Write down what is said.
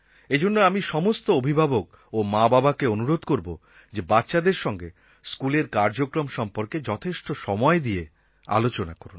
এজন্য আমি সমস্ত অভিভাবক ও মাবাবাকে অনুরোধ করব যে বাচ্চাদের সঙ্গে স্কুলের কার্যক্রম সম্পর্কে যথেষ্ট সময় দিয়ে আলোচনা করুন